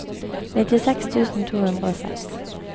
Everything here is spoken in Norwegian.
nittiseks tusen to hundre og seks